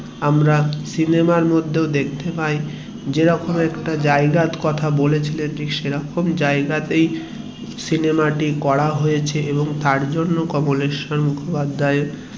আমরা সিনেমার মধ্যে দেখতে পাই যেরকম একটা জায়গা র কথা বলেছিলেন ঠিক সেরকম জায়গা তাই সিনেমা টি করা হয়েছে এবং তার জন্য কমলেশ্বর মুখোপাধ্যায়